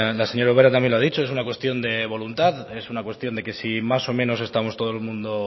la señora ubera también lo ha dicho es una cuestión de voluntad es una cuestión de que si más o menos estamos todo el mundo